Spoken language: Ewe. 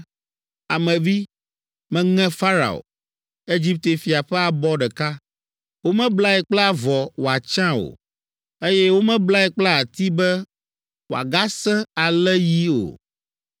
“Ame vi, meŋe Farao, Egipte fia ƒe abɔ ɖeka. Womeblae kple avɔ wòatsya o, eye womeblae kple ati be, wòagasẽ alé yi o.